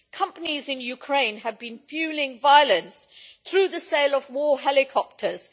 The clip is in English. Companies in Ukraine have been fuelling violence through the sale of more helicopters